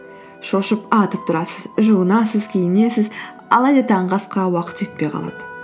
шошып атып тұрасыз жуынасыз киінесіз алайда таңғы асқа уақыт жетпей қалады